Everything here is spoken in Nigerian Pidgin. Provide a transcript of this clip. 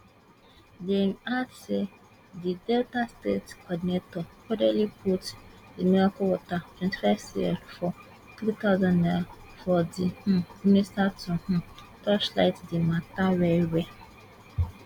dem add say di delta state coordinator codedly put di miracle water twenty five cl for three thousand naira for di um minister to um torchlight di mata well well